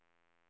system